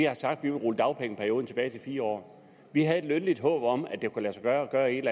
vil rulle dagpengeperioden tilbage til fire år vi havde et lønligt håb om at det kunne lade sig gøre at gøre et